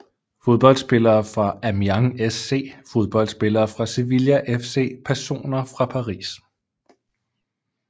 Fodboldspillere fra Amiens SC Fodboldspillere fra Sevilla FC Personer fra Paris